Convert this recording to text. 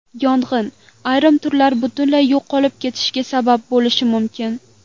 Yong‘in ayrim turlar butunlay yo‘qolib ketishiga sabab bo‘lishi mumkin.